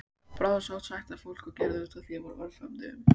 Bráðasótt sækti að fólki og gerði útaf við það á örfáum dögum